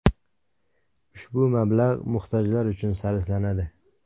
Ushbu mablag‘ muhtojlar uchun sarflanadi.